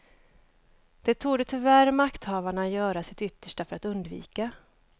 Det torde tyvärr makthavarna göra sitt yttersta för att undvika.